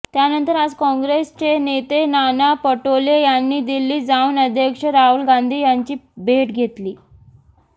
त्यानंतर आज काँग्रेसचे नेते नाना पटोले यांनी दिल्लीत जाऊन अध्यक्ष राहुल गांधी यांची भेट घेतली